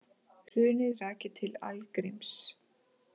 Hrunið rakið til algríms